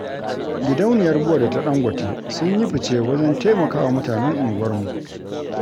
Gidauniyar Bua da ta Ɗangote, sun yi fice wajen taimakawa mutanen unguwarmu.